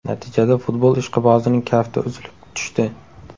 Natijada futbol ishqibozining kafti uzilib tushdi.